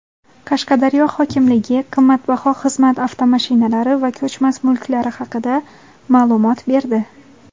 Qashqadaryo hokimligi qimmatbaho xizmat avtomashinalari va ko‘chmas mulklari haqida ma’lumot berdi.